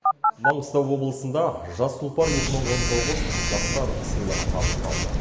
маңғыстау облысында жас тұлпар екі мың он тоғыз жастар сыйлығы табысталды